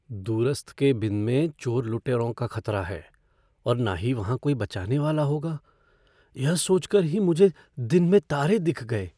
दूरस्थ केबिन में चोर लुटेरों का ख़तरा है और न ही वहाँ कोई बचाने वाला होगा, यह सोच कर ही मुझे दिन में तारे दिख गए।